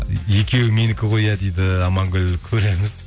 екеуі менікі ғой иә дейді амангүл көреміз